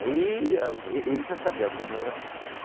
Aí a, e ele já sabia, obviamente, da nossa assistência.